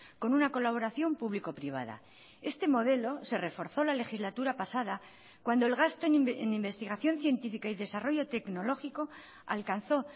con una colaboración público privada este modelo se reforzó la legislatura pasada cuando el gasto en investigación científica y desarrollo tecnológico alcanzó